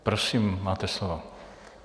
Prosím, máte slovo.